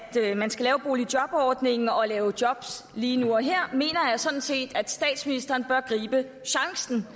at man skal lave boligjobordningen og lave job lige nu og her mener jeg sådan set at statsministeren bør gribe chancen